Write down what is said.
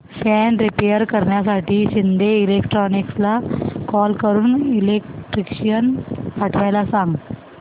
fan repair करण्यासाठी शिंदे इलेक्ट्रॉनिक्सला call करून इलेक्ट्रिशियन पाठवायला सांग